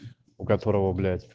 у которого блять